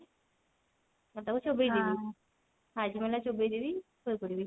ମୁଁ ତାକୁ ଚୋବେଇଦେବି Hajmola ଚୋବେଇଦେବି ଶୋଇପଡିବି